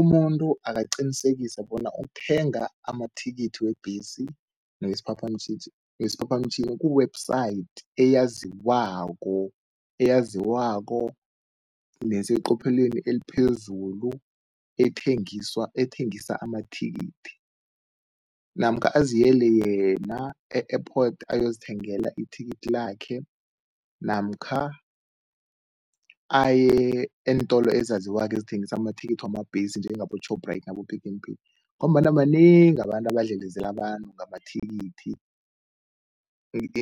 Umuntu akaqinisekisa bona ukuthenga amathikithi webhesi newesiphaphamtjhini ku-website eyaziwako, eyaziwako neseqopheleni eliphezulu ethengisa amathikithi namkha aziyele yena e-airport ayozithengela ithikithi lakhe namkha aye eentolo ezaziwako ezithengisa amathikithi wamabhesi njengabo-Shoprite nabo-Pick n Pay ngombana banengi abantu abadlelezela abantu ngamathikithi,